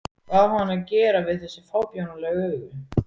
Hvað á hann að gera við þessi fábjánalegu augu?